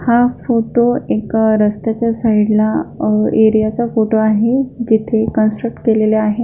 हा फोटो एका रस्त्याच्या साइड ला अ एरिया च्या फोटो आहे जेथे कनस्ट्रक्ट केलेले आहे.